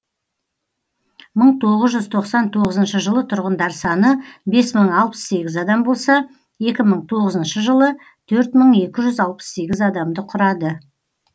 мың тоғыз жүз тоқсан тоғызыншы жылы тұрғындар саны бес мың алпыс сегіз адам болса екі мың тоғызыншы жылы төрт мың екі жүз алпыс сегіз адамды құрады